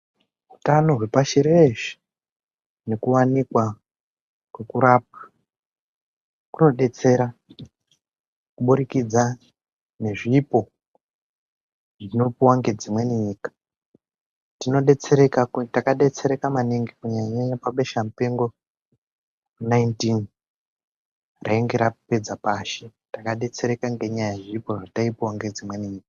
Utano hwepashi reshe hunowanikwa ngekurapwa kunodetsera kuburikidza ngezvipo zvinopuwa ngedzimweni nyika, takadetsereka maningi kunyanyanyanya pabeshamupengo 19 rainge rapedza pashi, takadetsereka ngenyaya yezvipo zvataipuw ngedzimweni nyika.